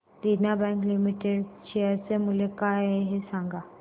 देना bank limited share चे मूल्य काय आहे हे सांगा